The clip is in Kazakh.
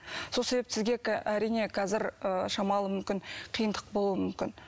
сол себепті сізге әрине қазір ы шамалы мүмкін қиындық болуы мүмкін